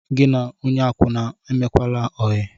Gị na onye akwụna emekwala óyi